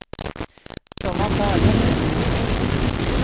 De var inte arga på henne längre.